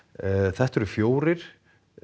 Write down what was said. þetta eru fjórir